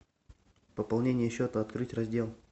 пополнение счета открыть раздел